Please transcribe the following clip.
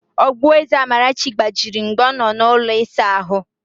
Ogboeze Amarachi gbajiri mgbe ọ nọ n'ụlọ ịsa ahụ